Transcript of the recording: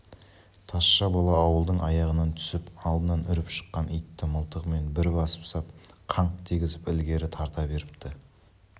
тазша бала ауылдың аяғынан түсіп алдынан үріп шыққан итті мылтығымен бір басып сап қаңқ дегізіп ілгері тарта беріпті